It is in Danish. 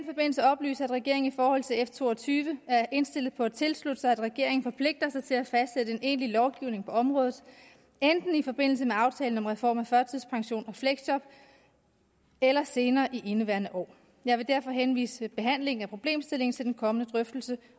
oplyse at regeringen i forhold til f to og tyve er indstillet på at tilslutte sig at regeringen forpligter sig til at fastsætte en egentlig lovgivning på området enten i forbindelse med aftalen om reform af førtidspension og fleksjob eller senere i indeværende år jeg vil derfor henvise behandlingen af problemstillingen til den kommende drøftelse